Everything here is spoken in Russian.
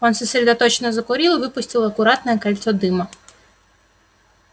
он сосредоточенно закурил и выпустил аккуратное кольцо дыма